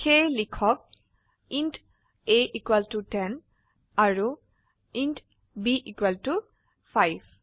সেয়ে লিখক int a 10 আৰু ইণ্ট b 5